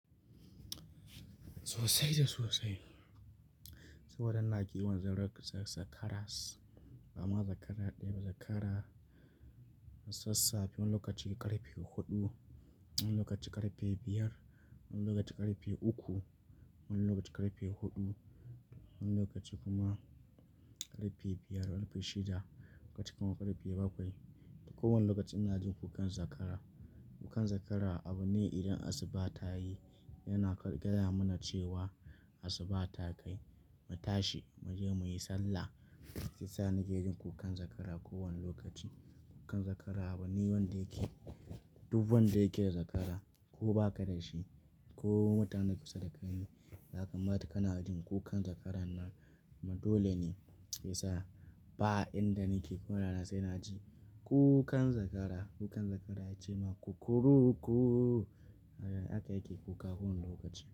Sosai da sosai. Saboda na kiwon zakaras, ba ma zakara ɗaya ba, zakara sassafe. Wani lokaci ƙarfe huɗu, wani lokaci ƙarfe biyar, wani lokaci ƙarfe uku, wani lokaci ƙarfe huɗu, wani lokaci kuma ƙarfe biyar, ƙarfe shida, wani lokaci kuma ƙarfe bakwai. Ko wane lokaci ina jin kukan zakara. Kukan zakara abu ne idan asuba ta yi yana gaya mana cewa asuba ta kai, mu tashi mu je muyi sallah. Se yasa nake jin kukan zakara kowane lokaci. Kukan zakara abu ne wanda yake, duk wanda yake da zakara ko ba ka da shi ko mutanen kusa da kai ne, ya kamata kana jin kukan zakaran nan. Ma dole ne Isa, ba inda nake ko na rance ina ji kukan zakara. Kukan zakara ya ce ma "kukuruku", haka yake kuka kowane lokaci.